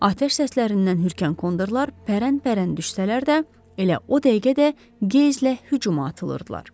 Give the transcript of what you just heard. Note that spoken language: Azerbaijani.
Atəş səslərindən hürkən kondorlar pərənpərən düşsələr də, elə o dəqiqə də qəzblə hücuma atılırdılar.